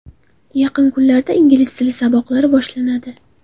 Yaqin kunlarda ingliz tili saboqlari boshlanadi.